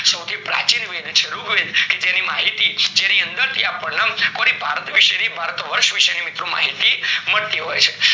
સૌથી પ્રાચીન વેદ છે રૂગ વેદ કે જેની માહિતી જેની અંદર થી આપણને ભારત વિષે ની ભારત વર્ષ વિષે ની મિત્રો માહિતી મળતી હોય છે